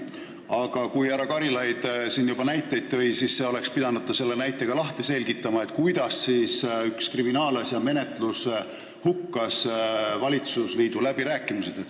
Aga kui härra Karilaid siin juba näiteid tõi, siis ta oleks pidanud selle ka lahti selgitama, kuidas üks kriminaalasja menetlus valitsusliidu läbirääkimised hukkas.